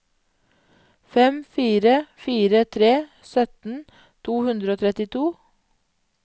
fem fire fire tre sytten to hundre og trettito